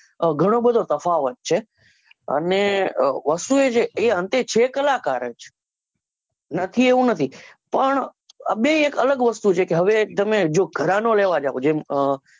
ઘણો બધો તફાવત છે અને અ વસ્તુ એ છે કે અંતે છે કલાકાર જ નથી એવું નથી પણ આ બે એક અલગ વસ્તુ છે હવે તમે જો ઘરાણો લેવા જાઓ જેમ અ